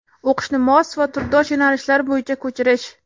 O‘qishni mos va turdosh yo‘nalishlar bo‘yicha ko‘chirish.